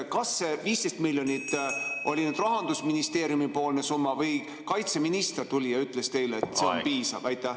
Kas see 15 miljonit oli Rahandusministeeriumi-poolne summa või kaitseminister tuli ja ütles teile, et see on piisav?